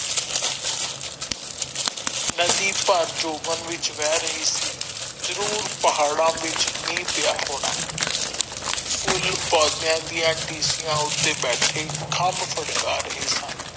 ਨਦੀ ਭਰ ਜੋਬਨ ਵਿੱਚ ਬਹਿ ਰਹੀ ਸੀ ਜਰੂਰ ਪਹਾੜਾ ਵਿੱਚ ਮੀਹਂ ਪਿਆ ਹੋਣਾ ਫੁੱਲ ਪੌਦਿਆਂ ਦੀਆ ਟੀਸੀਆਂ ਉੱਥੇ ਬੈਠੇ ਖਾਮ੍ਬ ਫੜਕਾ ਰਹੇ ਸਨ।